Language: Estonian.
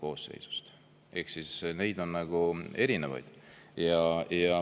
Ehk neid on erinevaid.